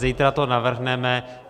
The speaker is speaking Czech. Zítra to navrhneme.